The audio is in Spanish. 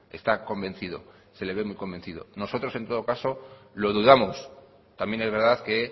está convencido se le ve muy convencido nosotros en todo caso lo dudamos también es verdad que